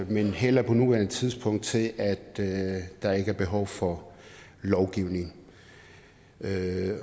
men hælder på nuværende tidspunkt til at der ikke er behov for lovgivning jeg er